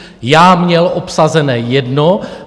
Já měl obsazenou jednu.